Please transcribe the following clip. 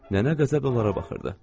Nənə qəzəblə onlara baxırdı.